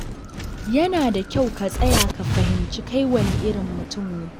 Yana da kyau ka tsaya ka fahimci kai wane irin mutum ne.